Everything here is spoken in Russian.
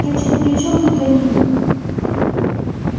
так что при чём тут они